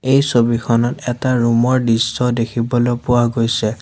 এই ছবিখনত এটা ৰুম ৰ দৃশ্য দেখিবলৈ পোৱা গৈছে।